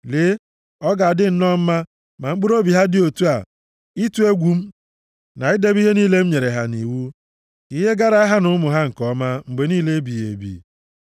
Lee, ọ ga-adị nnọọ mma ma mkpụrụobi ha dị otu a, ịtụ egwu m, na idebe ihe niile m nyere ha nʼiwu, ka ihe gaara ha na ụmụ ha nke ọma mgbe niile ebighị ebi.